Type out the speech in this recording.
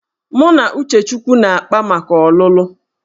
Mụ na Uchechukwu na-akpá maka ọlụlụ